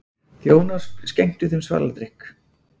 Þjónar skenktu þeim svaladrykk.